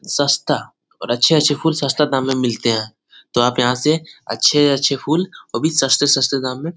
सस्ता और अछे-अछे फुल सस्ता दाम में मिलते है। तो आप याहा से अछे-अछे फुल वो भी सस्ते-सस्ते दाम में --